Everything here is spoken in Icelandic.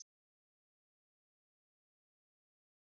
Grískar goðsögur sagðar af Gunnari Dal.